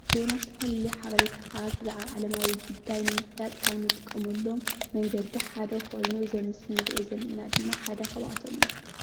ዜና ዝተፈላለዩ ሓበሬታታት ብዛዕባ ዓለማዊ ጉዳይ ንምፍላጥ ካብ እንጥቀመሎም መንገዲ ሓደ ኮይኑ እዚ ኣብ ምስሊ እንሪኦ ዘለና ድማ ሓደ ካብኣቶም እዩ፡፡